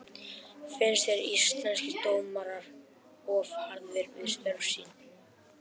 Finnst þér Íslenskir dómarar of harðir við störf sín?